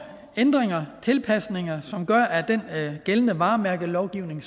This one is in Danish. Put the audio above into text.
ændringer tilpasninger som gør at den gældende varemærkelovgivning